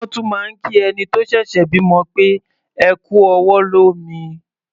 Wọ́n tún máa ń kí ẹni tó ṣẹ̀ṣẹ̀ bímọ pé "ẹ kú ọwọ́ lómi".